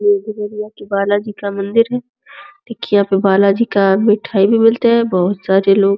बालाजी का मंदिर है। देखिये यहाँ पे बालाजी का मिठाई भी मिलता है। यहाँ बोहोत सारे लोग --